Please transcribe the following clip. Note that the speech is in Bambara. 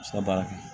baara kɛ